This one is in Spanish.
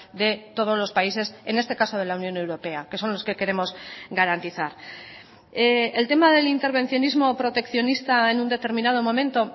de todos los países en este caso de la unión europea que son los que queremos garantizar el tema del intervencionismo proteccionista en un determinado momento